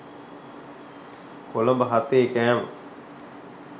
කොළඹ හතේ කෑම.